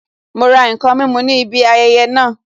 Ma ra n kan mímu ní ibi ayẹyẹ naa